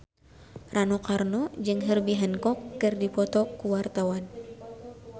Rano Karno jeung Herbie Hancock keur dipoto ku wartawan